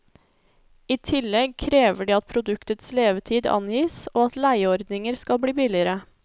I tillegg krever de at produktets levetid angis og at leieordninger skal bli billigere.